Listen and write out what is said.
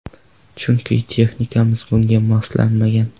Chunki texnikamiz bunga moslanmagan.